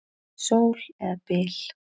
Í sól eða byl.